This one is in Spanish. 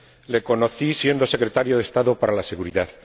Le conocí siendo Secretario de Estado para la Seguridad.